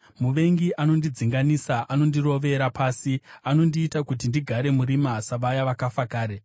Muvengi anondidzinganisa, anondirovera pasi; anondiita kuti ndigare murima savaya vakafa kare.